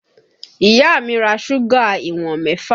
Ìyá mi ra súgà ìwọ̀n mẹ́fà